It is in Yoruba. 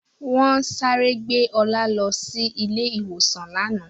Wọ́n sáré gbé Ọlá lọ ilé-ìwòsàn lánàá.